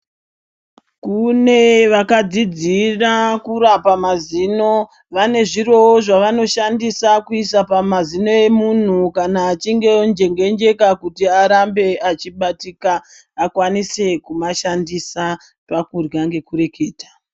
Kune vakadzidzira kurapa mazino vane zvirowo zvavanoshandisa kuisa pamazino emunhu kana achinge onjengenjeka kuti arambe achibatika. Akwanise kumashandisa pakurya nekureketa.